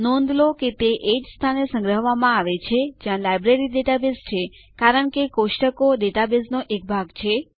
નોંધ લો કે તે એ જ સ્થાને સંગ્રહવામાં આવેલ છે જ્યાં લાઈબ્રેરી ડેટાબેઝ છે કારણ કે કોષ્ટકો ડેટાબેઝનો એક ભાગ છે